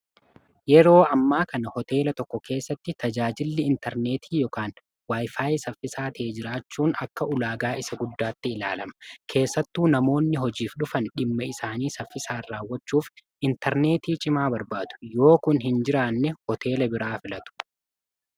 yeroo ammaa kana hoteela tokko keessatti tajaajilli intarneetii ykn waayfaayi saffisaa ta'ee jiraachuun akka ulaagaa isa guddaatti ilaalama keessattuu namoonni hojiif dhufan dhimma isaanii saffisaan raawwachuuf intarneetii cimaa barbaadu yoo kun hin jiraanne hooteela biraa filatu